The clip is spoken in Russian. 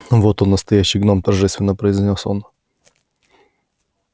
вот он настоящий гном торжественно произнёс он